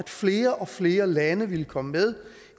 flere og flere lande ville komme med